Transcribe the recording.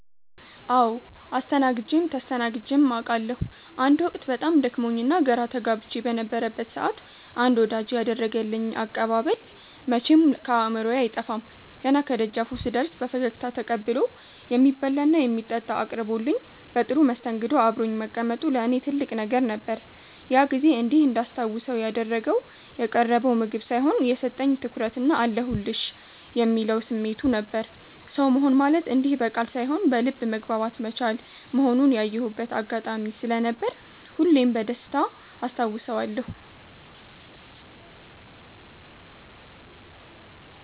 አዎ አስተናግጀም ተስተናግጀም አቃለሁ። አንድ ወቅት በጣም ደክሞኝና ግራ ተጋብቼ በነበረበት ሰዓት አንድ ወዳጄ ያደረገልኝ አቀባበል መቼም ከአእምሮዬ አይጠፋም። ገና ከደጃፉ ስደርስ በፈገግታ ተቀብሎ፣ የሚበላና የሚጠጣ አቅርቦልኝ በጥሩ መስተንግዶ አብሮኝ መቀመጡ ለእኔ ትልቅ ነገር ነበር። ያ ጊዜ እንዲህ እንዳስታውሰው ያደረገው የቀረበው ምግብ ሳይሆን፣ የሰጠኝ ትኩረትና "አለሁልሽ" የሚለው ስሜቱ ነበር። ሰው መሆን ማለት እንዲህ በቃል ሳይሆን በልብ መግባባት መቻል መሆኑን ያየሁበት አጋጣሚ ስለነበር ሁሌም በደስታ አስታውሰዋለሁ።